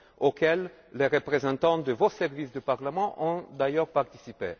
auxquelles les représentants de vos services du Parlement ont d'ailleurs participé.